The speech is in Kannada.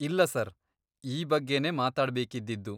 ಇಲ್ಲ ಸರ್, ಈ ಬಗ್ಗೆನೇ ಮಾತಾಡ್ಬೇಕಿದ್ದಿದ್ದು.